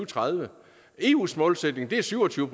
tredive eus målsætning er syv og tyve